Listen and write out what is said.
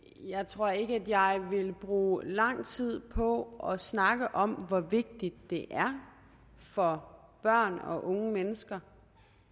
jeg tror ikke at jeg vil bruge lang tid på at snakke om hvor vigtigt det er for børn og unge mennesker